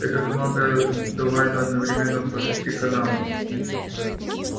это команды отдаваемые одновременно по шести каналам